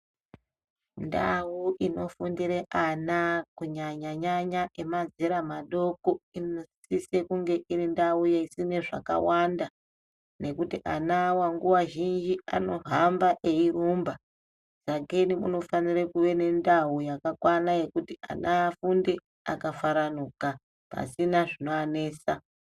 Ndau inofundira ana kunyanyanyanya emazera madoko inosisa kunge iri ndau inoitwa zvakawanda ngekuti anawa nguwa zhinji anohamba eirumba sakei kunofana kunge kune ndau yakakwana yekuti ana afunde akafaranuka pasina zvinovanetsa.